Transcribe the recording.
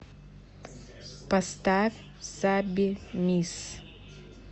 поставь саби мисс